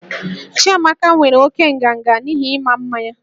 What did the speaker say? Chiamaka nwere oke nganga n'ihi ịma mma ya